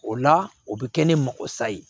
O la o bɛ kɛ ne makosa ye